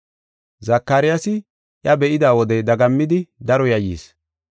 Zakaryaasi iya be7ida wode dagammidi daro yayyis.